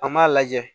An m'a lajɛ